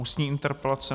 Ústní interpelace